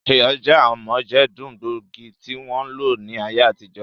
Iyọ̀ jẹ́ amójẹdùn gbóògì tí wọ́n ń lò ní ayé àtijọ́